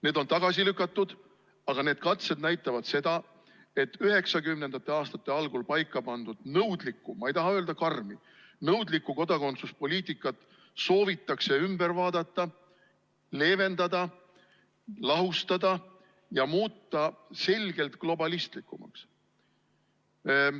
Need on tagasi lükatud, aga need katsed näitavad seda, et 1990. aastate algul paika pandud nõudlikku, ma ei taha öelda "karmi", kodakondsuspoliitikat soovitakse üle vaadata, et seda leevendada, lahustada ja muuta selgelt globalistlikumaks.